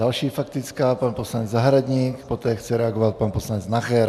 Další faktická, pan poslanec Zahradník, poté chce reagovat pan poslanec Nacher.